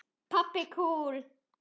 Pabbi kúl!